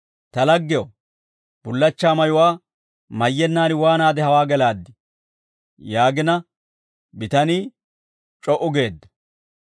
‹Ta laggew, bullachchaa mayuwaa mayyennaan waanaade hawaa gelaaddii?› yaagina bitanii c'o"u geedda.